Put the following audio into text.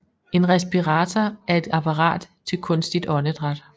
En respirator er et apparat til kunstigt åndedræt